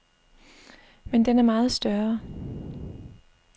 Men den er meget større.